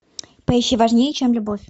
поищи важнее чем любовь